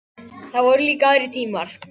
Það voru líka aðrir tímar.